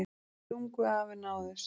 Stungu af en náðust